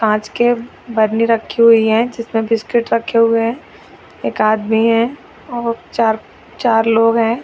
काँच के बर्नी रखी हुई है जिसमें बिस्किट रखी हुए है एक आदमी है वे चार- चार लोग हैं |